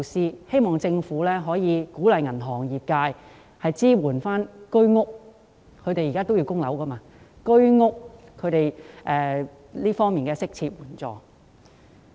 我希望政府可以鼓勵銀行業支援需要償還物業貸款的居屋業主，提供適切的援助。